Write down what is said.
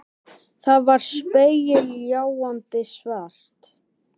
Það var spegilgljáandi svart.